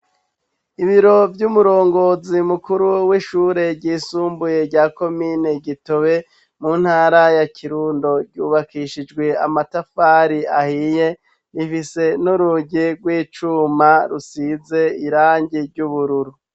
Ibiro by'umurongozi mukuru w'ishure ryisumbuye rya komine Gitobe mu ntara ya kirundo, ryubakishijwe amatafari ahiye rifise n'urugi rw'icuma rusize irangi ry'ubururu.